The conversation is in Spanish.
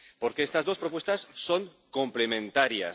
Porque estas dos propuestas son complementarias.